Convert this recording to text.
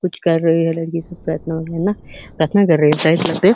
कुछ कर रही है। लड़की सब प्रार्थना कर रही है।